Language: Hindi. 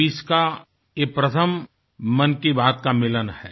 2020 का ये प्रथम मन की बातका मिलन है